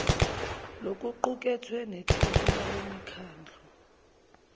lokuqukethwe nethebula lemikhandlu